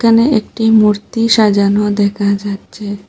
এখানে একটি মূর্তি সাজানো দেখা যাচ্ছে।